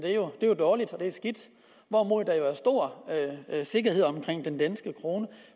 er jo dårligt og skidt hvorimod der jo er stor sikkerhed omkring den danske krone